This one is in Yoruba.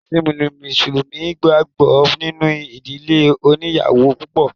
Ẹ̀ṣin mùsùlùmí gbàgbọ́ nínú ìdílé oníyàwò púpọ̀.